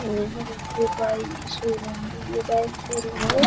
यहाँ देखिए बाइक की शोरूम है ये बाइक शोरूम है ।